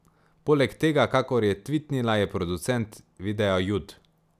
Poleg tega, kakor je tvitnila, je producent videa Jud.